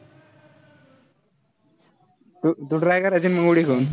तू तू try करायची ना, मग उडी घेऊन.